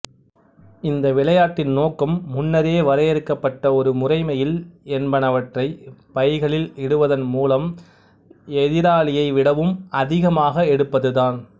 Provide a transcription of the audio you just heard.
இந்த விளையாட்டின் நோக்கம் முன்னரே வரையறுக்கப்பட்ட ஒரு முறைமையில் என்பனவற்றைப் பைகளில் இடுவதன் மூலம் எதிராளியை விடவும் அதிகமாக எடுப்பதுதான்